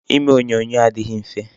Ime onyonyo adịghị mfe.